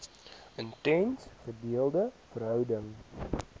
intense gedeelde verhouding